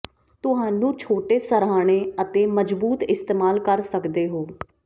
ਤੁਹਾਨੂੰ ਛੋਟੇ ਸਰ੍ਹਾਣੇ ਅਤੇ ਮਜ਼ਬੂਤ ਇਸਤੇਮਾਲ ਕਰ ਸਕਦੇ ਹੋ